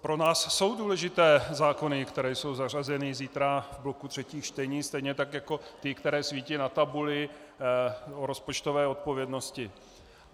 Pro nás jsou důležité zákony, které jsou zařazeny zítra v bloku třetích čtení stejně tak jako ty, které svítí na tabuli, o rozpočtové odpovědnosti.